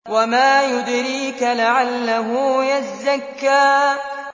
وَمَا يُدْرِيكَ لَعَلَّهُ يَزَّكَّىٰ